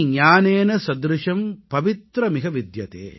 ந ஹி ஞானேன ஸத்ருஷம் பவித்ர மிக வித்யதே